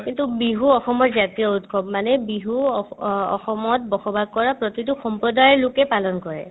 কিন্তু বিহু অসমৰ জাতীয় উৎসৱ মানে বিহু অস ~ অ ~ অসমত বসবাস কৰা প্ৰতিতো সম্প্ৰদাইৰ লোকে পালন কৰে